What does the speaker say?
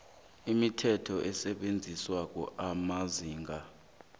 imithetho esetjenziswako amazinga